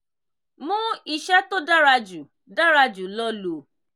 mú ìṣe tó dára jù dára jù lọ lò